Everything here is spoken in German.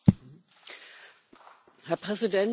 Herr Präsident, Frau Kommissarin!